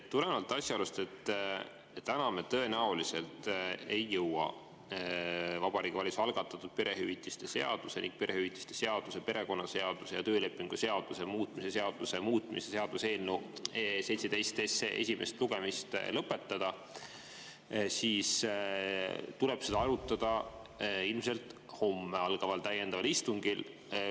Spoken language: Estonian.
Tulenevalt asjaolust, et täna me tõenäoliselt ei jõua Vabariigi Valitsuse algatatud perehüvitiste seaduse ning perehüvitiste seaduse, perekonnaseaduse ja töölepingu seaduse muutmise seaduse muutmise seaduse eelnõu 17 esimest lugemist lõpetada, tuleb seda arutada ilmselt homme algaval täiendaval istungil.